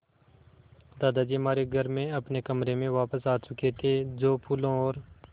दादाजी हमारे घर में अपने कमरे में वापस आ चुके थे जो फूलों और